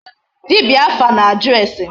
Dibịa afa na-ajụ ase.